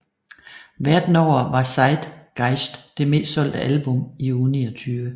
Verden over var Zeitgeist det mest solgte album i uge 29